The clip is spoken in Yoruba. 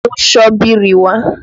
Mú ṣọ́bìrì wá!